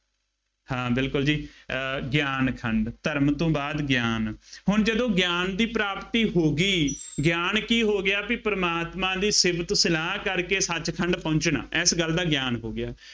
ਹਾਂ ਬਿਲਕੁੱਲ ਜੀ, ਅਹ ਗਿਆਨ ਖੰਡ, ਧਰਮ ਤੋਂ ਬਾਅਦ ਗਿਆਨ, ਹੁਣ ਜਦੋਂ ਗਿਆਨ ਦੀ ਪ੍ਰਾਪਤੀ ਹੋ ਗਈ, ਗਿਆਨ ਕੀ ਹੋ ਗਿਆ ਬਈ ਪ੍ਰਮਾਤਮਾ ਦੀ ਸ਼ਿਫਤ ਸਲਾਹ ਕਰਕੇ ਸੱਚ ਖੰਡ ਪਹੁੰਚਣਾ, ਇਸ ਗੱਲ ਦਾ ਗਿਆਨ ਹੋ ਗਿਆ।